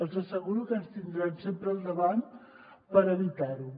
els asseguro que ens tindran sempre al davant per evitar ho